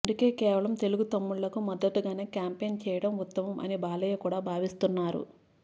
అందుకే కేవలం తెలుగు తమ్ముళ్లకు మద్దుతుగానే క్యాంపెన్ చేయడం ఉత్తమం అని బాలయ్య కూడా భావిస్తున్నారు